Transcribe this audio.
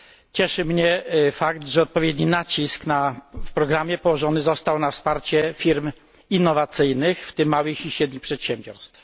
Cieszy mnie fakt, że odpowiedni nacisk w programie położony został na wsparcie firm innowacyjnych, w tym małych i średnich przedsiębiorstw.